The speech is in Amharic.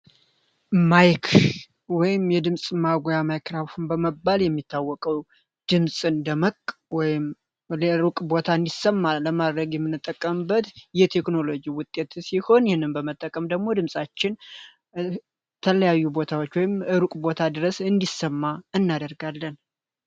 ማይክ ወይ የድምፅ ማጓያ ማይክራፉን በመባል የሚታወቀው ድምፅ እንደመቅ ዕሩቅ ቦታ እንዲሰማ ለማድረግ የሚነጠቀምበት የቴክኖሎጂ ውጤት ሲሆን ይህንም በመጠቀም ደግሞ ድምፃችን ተለያዩ ቦታዎች ወይም እሩቅ ቦታ ድረስ እንዲሰማ እናደርጋለን።